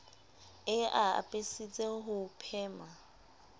e a apesitse ho phema